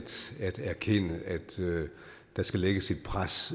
erkende at der skal lægges et pres